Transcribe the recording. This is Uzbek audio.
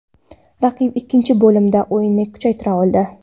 Raqib ikkinchi bo‘limda o‘yinini kuchaytira oldi.